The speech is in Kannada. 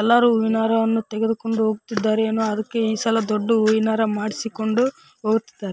ಎಲ್ಲರೂ ಹೂವಿನ ಹಾರವನ್ನು ತೆಗೆದುಕೊಂಡು ಹೋಗುತ್ತಿದ್ದಾರೆ ಅದಕ್ಕೆ ಏನೋ ಈ ಸಲ ದೊಡ್ಡ ಹೂವಿನ ಹಾರ ಮಾಡಿಸಿಕೊಂಡು ಹೋಗುತ್ತಿದ್ದಾರೆ.